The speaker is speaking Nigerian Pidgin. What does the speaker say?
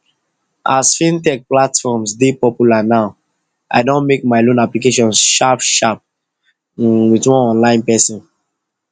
as fintech platforms dey popular now i don make my loan applications sharp sharp um with one online person